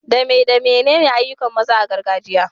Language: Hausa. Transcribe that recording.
Dame damenene ayyukan maza a gargajiya?